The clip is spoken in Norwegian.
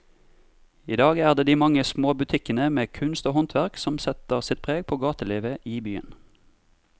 I dag er det de mange små butikkene med kunst og håndverk som setter sitt preg på gatelivet i byen.